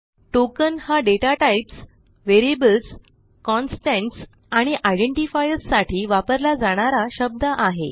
token हा data types variables constants आणि identifiers साठी वापरला जाणारा शब्द आहे